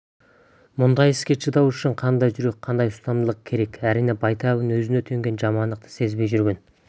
бұндай іске шыдау үшін қандай жүрек қандай ұстамдылық керек әрине байтабын өзіне төнген жамандықты сезбей жүрген